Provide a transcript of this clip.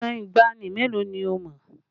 Ìtàn ìgbàanì mélòó ni o mọ̀?